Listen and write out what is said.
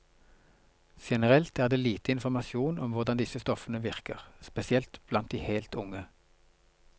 Generelt er det lite informasjon om hvordan disse stoffene virker, spesielt blant de helt unge.